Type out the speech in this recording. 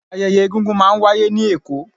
ayẹyẹ egungun ma n wàyé ni Èko